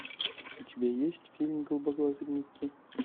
у тебя есть фильм голубоглазый микки